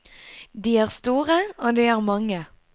De er store, og de er mange.